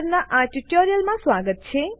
પરનાં આ ટ્યુટોરીયલમાં સ્વાગત છે